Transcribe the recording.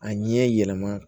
A ɲɛ yɛlɛma